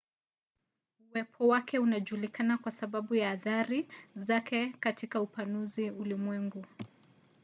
uwepo wake unajulikana kwa sababu tu ya athari zake katika upanuzi wa ulimwengu